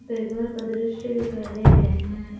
का दृश्य दिखाई दे रहे हैं।